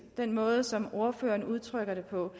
den måde som ordføreren udtrykker det på